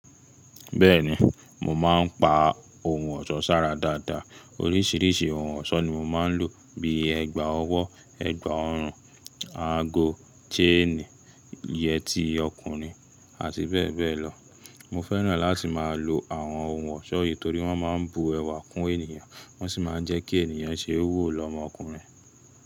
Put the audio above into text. Bẹ́ẹ̀ni, mò má n pa ohun ọ̀ṣọ́ sára dáadáa. Orísìírísìí ohun ọ̀ṣọ́ ni mo má n lò bí ẹgba ọwọ́, ẹgba ọrùn, ago, ṣéènì, yẹtí ọkùnrin àti bẹ́ẹ̀ bẹ́ẹ̀ lọ. Mo fẹ́ràn láti má a lo àwọn ohun ọ̀ṣọ́ yìí torí wọ́n ma n bu ẹwà kún ènìyàn, wọ́n sì ma n jẹ́ kí ènìyàn ṣe wò lọmọkùnrin.